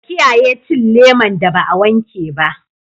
Ka kiyaye cin leman da ba a wanke ba.